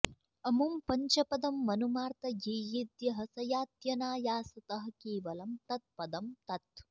अमुं पञ्चपदं मनुमार्तयेयेद्यः स यात्यनायासतः केवलं तत्पदं तत्